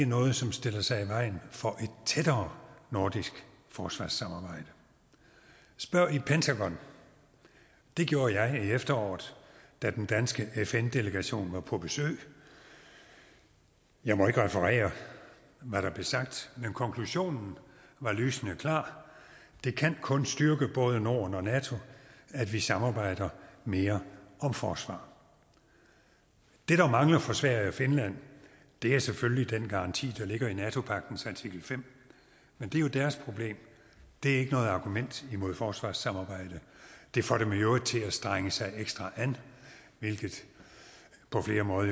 noget som stiller sig i vejen for et tættere nordisk forsvarssamarbejde spørg i pentagon det gjorde jeg i efteråret da den danske fn delegation var på besøg jeg må ikke referere hvad der blev sagt men konklusionen var lysende klar det kan kun styrke både norden og nato at vi samarbejder mere om forsvar det der mangler for sverige og finland er selvfølgelig den garanti der ligger i nato pagtens artikel fem men det er jo deres problem det er ikke noget argument imod forsvarssamarbejde det får dem i øvrigt til at strenge sig ekstra an hvilket på flere måder